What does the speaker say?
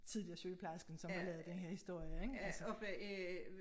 Tidligere sygeplejersken som har lavet den her historie ik altså